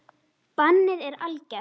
Bannið er algert.